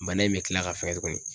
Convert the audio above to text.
Bana in be kila ka fɛgɛn tuguni.